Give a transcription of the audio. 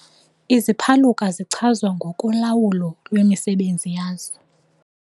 Iziphaluka zichazwa ngokolawulo lwemisebenzi yazo.